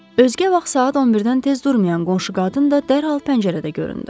Özgə vaxt saat 11-dən tez durmayan qonşu qadın da dərhal pəncərədə göründü.